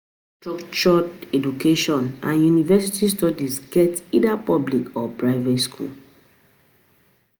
Structured um education and university studies get either public or private